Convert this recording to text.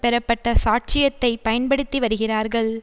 பெறப்பட்ட சாட்சியத்தை பயன்படுத்தி வருகிறார்கள்